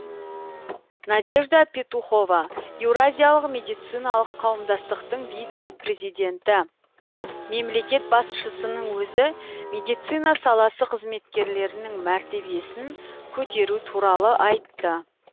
надежда петухова еуразиялық медициналық қауымдастықтың вице президенті мемлекет басшысының өзі медицина саласы қызметкерлерінің мәртебесін көтеру туралы айтты